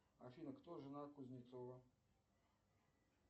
афина кто жена кузнецова